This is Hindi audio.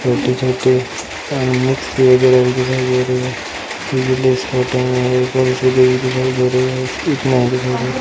छोटी-छोटी दिखाई दे रही है। दिखाई दे रही है एक नाव दिखाई दे --